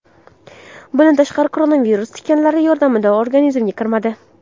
Bundan tashqari, koronavirus tikanlari yordamida organizmga kiradi.